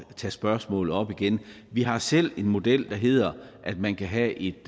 tage spørgsmålet op igen vi har selv en model der hedder at man kan have et